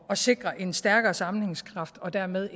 sikre en stærkere sammenhængskraft og dermed